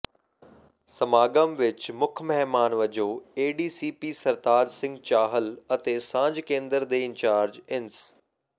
ਸਮਾਗਮ ਵਿਚ ਮੁੱਖ ਮਹਿਮਾਨ ਵਜੋਂ ਏਡੀਸੀਪੀ ਸਰਤਾਜ ਸਿੰਘ ਚਾਹਲ ਅਤੇ ਸਾਂਝ ਕੇਂਦਰ ਦੇ ਇੰਚਾਰਜ ਇੰਸ